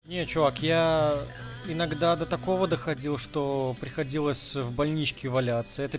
не чувак я иногда до такого доходил что приходилось в больничке валяться это